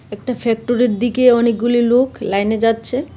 একটা ফ্যাক্টরির দিকে অনেকগুলি লোক লাইনে যাচ্ছে .